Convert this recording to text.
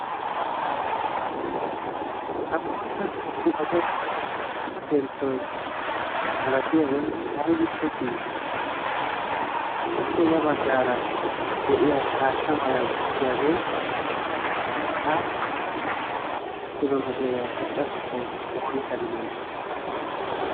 ha bootta muqqaqe penttoi malatiyaabai aibippe kii? appe ya baggaara de7iya haatta mala goggiyaagee aappui kilo meeteeriyaa xoqqatettai woisa gidanee?